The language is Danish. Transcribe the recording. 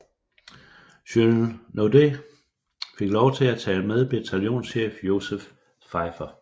Jules Naudet fik lov til at tage med bataljonschefen Joseph Pfeifer